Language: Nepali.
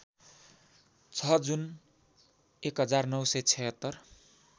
छ जुन १९७६